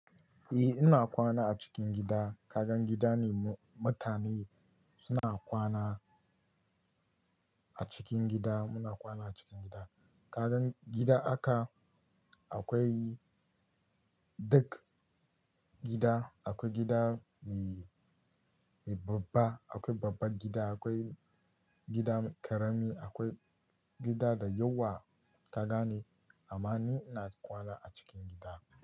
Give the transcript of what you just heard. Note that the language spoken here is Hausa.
Eh, ina kwana a cikin gida. Kagan gida ne mu-mutane suna kwana a cikin gida. Muna kwana a cikin gida. Kagan gida haka akwai duk gida. Akwai gida mai, mai babba, akwai babba gida, akwai gida ƙarami, akwai gida da yawa ka gane. Amma ni ina kwana a cikin gida.